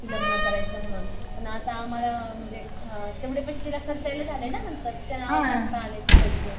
लग्न करायचं म्हणून पण आता आम्हाला तेवढे पैसे तिला खर्चायला झाले ना नंतर आले ते पैसे